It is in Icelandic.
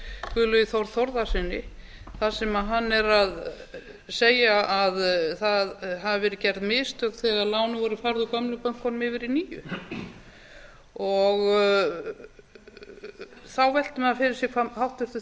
guðlaugi þór þórðarsyni þar sem hann er að segja að það hafi verið gerð mistök þegar lánin voru færð úr gömlu bönkunum yfir í nýju þá veltir maður fyrir sér hvað háttvirtur